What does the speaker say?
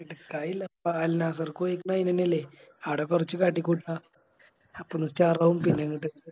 എടക്കയില്ല അയിനെന്നേ അല്ലെ ആട കൊറച്ച് കാട്ടി കൂട്ട അപ്പൊന്ന് Star ആവും പിന്നെ ഇങ്ങട്ട്